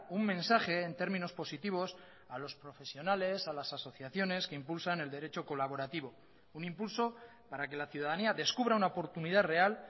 un mensaje en términos positivos a los profesionales a las asociaciones que impulsan el derecho colaborativo un impulso para que la ciudadanía descubra una oportunidad real